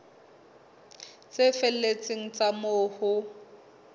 tse felletseng tsa moo ho